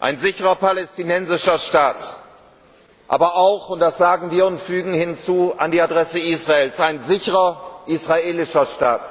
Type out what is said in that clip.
Ein sicherer palästinensischer Staat, aber auch und das sagen wir an die Adresse Israels gewandt ein sicherer israelischer Staat